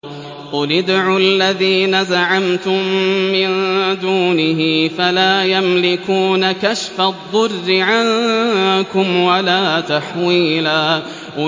قُلِ ادْعُوا الَّذِينَ زَعَمْتُم مِّن دُونِهِ فَلَا يَمْلِكُونَ كَشْفَ الضُّرِّ عَنكُمْ وَلَا تَحْوِيلًا